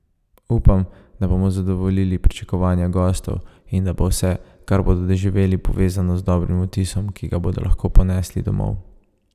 Upam, da bomo zadovoljili pričakovanja gostov in da bo vse, kar bodo doživeli, povezano z dobrim vtisom, ki ga bodo lahko ponesli domov.